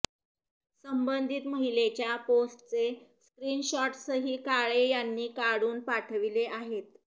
संबंधित महिलेच्या पोस्टचे स्क्रीन शॉट्सही काळे यांनी काढून पाठविले आहेत